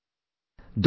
"